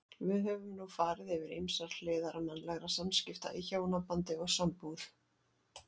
Við höfum nú farið yfir ýmsar hliðar mannlegra samskipta í hjónabandi og sambúð.